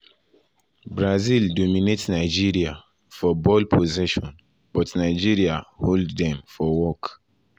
brazil dominate nigeria for ball ball possession but nigeria hold dem for work.